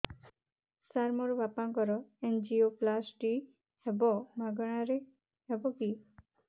ସାର ମୋର ବାପାଙ୍କର ଏନଜିଓପ୍ଳାସଟି ହେବ ମାଗଣା ରେ ହେବ କି